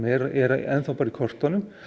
er enn bara í kortunum